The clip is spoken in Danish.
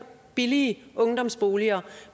billige ungdomsboliger